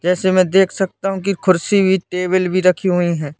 जैसे मे देख सकता हूं कि कुर्सी टेबल भी रखी हुई है।